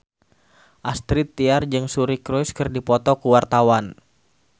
Astrid Tiar jeung Suri Cruise keur dipoto ku wartawan